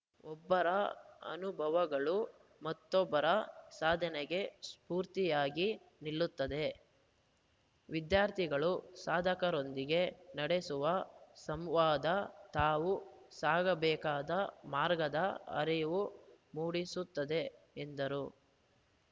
ಒಬ್ಬರ ಅನುಭವಗಳು ಮತ್ತೊಬ್ಬರ ಸಾಧನೆಗೆ ಸ್ಪೂರ್ತಿಯಾಗಿ ನಿಲ್ಲುತ್ತದೆ ವಿದ್ಯಾರ್ಥಿಗಳು ಸಾಧಕರೊಂದಿಗೆ ನಡೆಸುವ ಸಂವಾದ ತಾವು ಸಾಗಬೇಕಾದ ಮಾರ್ಗದ ಅರಿವು ಮೂಡಿಸುತ್ತದೆ ಎಂದರು